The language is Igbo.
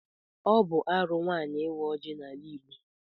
Ọ bụ arụ nwaanyị ịwa ọjị n'ala Igbo.